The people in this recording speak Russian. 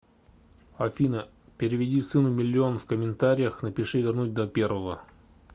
афина переведи сыну миллион в комментариях напиши вернуть до первого